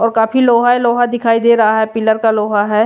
और काफी लोहा है लोहा दिखाई दे रहा है पिलर का लोहा है।